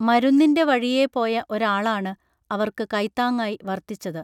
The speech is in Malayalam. മരുന്നിൻറെ വഴിയേ പോയ ഒരാളാണ് അവർക്ക് കൈത്താങ്ങായി വർത്തിച്ചത്